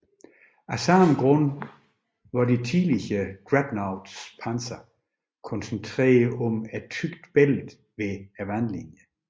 Af samme grund var de tidlige dreadnoughts panser koncentreret om et tykt bælte ved vandlinjen